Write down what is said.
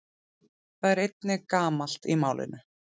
Það er einnig gamalt í málinu.